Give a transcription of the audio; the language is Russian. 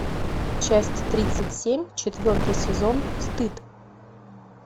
часть тридцать семь четвертый сезон стыд